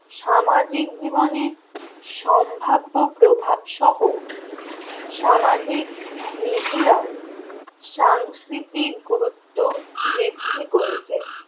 সামাজিক জীবনে সম্ভাব্য প্রভাব সহ সামাজিক media র সাংস্কৃতিক গুরুত্ব বৃদ্ধি করেছে